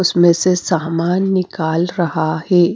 उसमें से सामान निकाल रहा है।